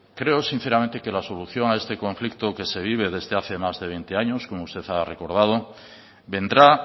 creo sinceramente que la solución a este conflicto que se vive desde hace más de veinte años como usted ha recordado vendrá